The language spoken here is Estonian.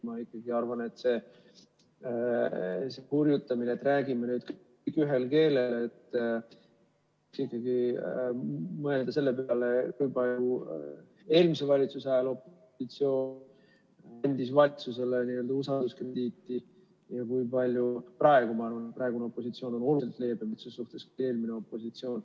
Ma ikkagi arvan selle hurjutamise kohta, et räägime nüüd ühel keelel, kui mõelda selle peale, kui palju eelmise valitsuse ajal opositsioon andis valitsusele n‑ö usalduskrediiti ja kui palju praegu, et praegune opositsioon on oluliselt leebem selles suhtes kui eelmine opositsioon.